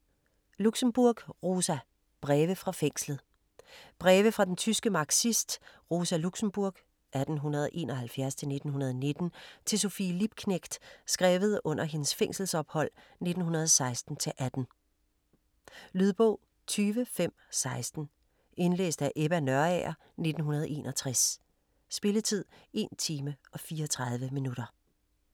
Luxemburg, Rosa: Breve fra fængslet Breve fra den tyske marxist, Rosa Luxemburg (1871-1919) til Sophie Liebknecht, skrevet under hendes fængselsophold 1916-18. Lydbog 20516 Indlæst af Ebba Nørager, 1961. Spilletid: 1 time, 34 minutter.